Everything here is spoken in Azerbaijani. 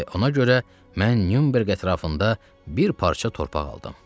və ona görə mən Nyunberq ətrafında bir parça torpaq aldım.